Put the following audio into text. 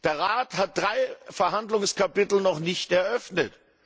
Der Rat hat drei Verhandlungskapitel noch nicht eröffnet.